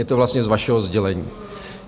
Je to vlastně z vašeho sdělení.